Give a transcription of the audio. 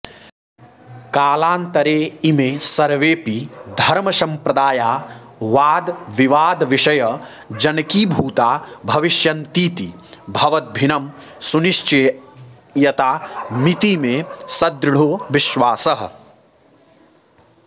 कालान्तरे इमे सर्वेऽपि धर्म सम्प्रदाया वादविवादविषयजनकीभूता भविष्यन्तीति भवद्भिनं सुनिश्चीयता मिति मे सदृढो विश्वासः